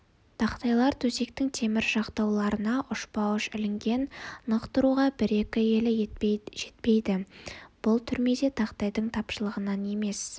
тақтайлар төсектің темір жақтауларына ұшпа-ұш ілінген нық тұруға бір-екі елі жетпейді бұл түрмеде тақтайдың тапшылығынан емес